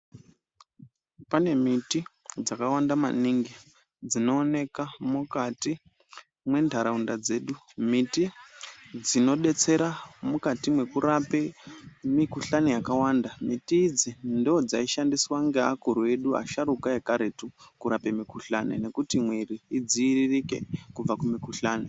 Pane miti dzakawanda maningi dzinooneka mukati mwentaraunda dzedu. Miti dzinodetsera mukati mekurape mikuhlani yakawanda. Miti idzi ndoodzaishandiswa ngeakuru edu asharuka ekaretu kurape mikuhlani nekuti mwiiri idziiririke kubva kumikuhlani.